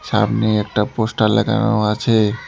সামনে একটা পোস্টার লাগানো আছে।